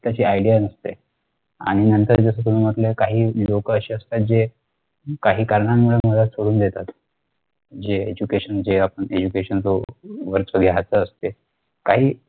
त्याची idea नसते आणि नंतर जस तुम्ही म्हटले कि काही लोक अशी असतात जे काही कारणामुळे मध्यात सोडून देतात जे education जे आपण education च असते. काही